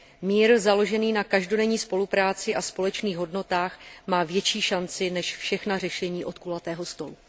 Mír založený na každodenní spolupráci a společných hodnotách má větší šanci než všechna řešení od kulatého stolu.